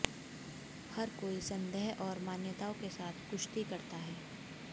हर कोई संदेह और मान्यताओं के साथ कुश्ती करता है